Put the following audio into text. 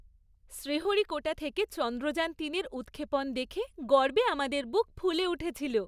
শ্রীহরিকোটা থেকে চন্দ্রযান তিনের উৎক্ষেপণ দেখে গর্বে আমাদের বুক ফুলে উঠেছিল।